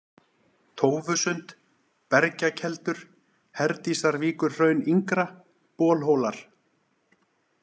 tófusund, Bergjakeldur, Herdísarvíkurhraun yngra, Bolhólar